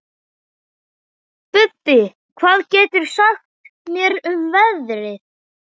Bubbi, hvað geturðu sagt mér um veðrið?